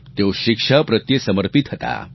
તેઓ શિક્ષા પ્રત્યે સમર્પિત હતા